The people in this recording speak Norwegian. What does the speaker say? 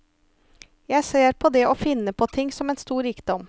Jeg ser på det å finne på ting som en stor rikdom.